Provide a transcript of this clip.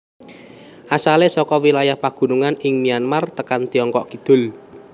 Asalé saka wilayah pagunungan ing Myanmar tekan Tiongkok kidul